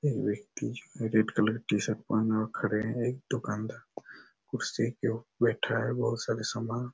एक व्यक्ति है रेड कलर टी-शर्ट पहन रख रहे है एक दुकानदार कुर्सी के ऊपर बैठा है और बहुत सारे सामान--